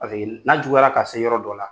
Paseke n'a juguyara ka se yɔrɔ dɔ la